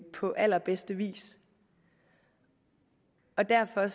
på allerbedste vis og derfor